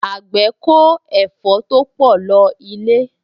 Àgbẹ̀ kó ẹ̀fọ́ to pọ̀ lọ ilé